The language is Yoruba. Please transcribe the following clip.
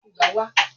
Abo Ẹ̀fọn máa fà ibà